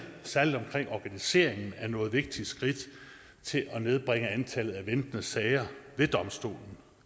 særlig omkring organiseringen er nået vigtige skridt til at nedbringe antallet af ventende sager ved domstolen